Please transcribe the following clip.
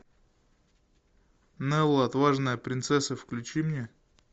нелла отважная принцесса включи мне